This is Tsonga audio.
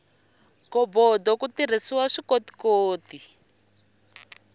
ghobodo ku tirhisiwa swikotikoti